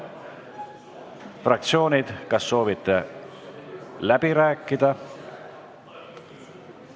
Fraktsioonid, kas soovite läbi rääkida?